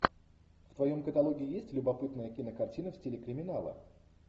в твоем каталоге есть любопытная кинокартина в стиле криминала